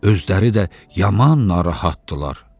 Özləri də yaman narahat idilər.